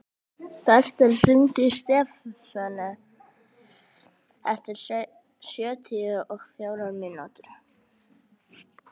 Bertel, hringdu í Stefönu eftir sjötíu og fjórar mínútur.